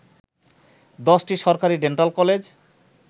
১০টি সরকারি dental college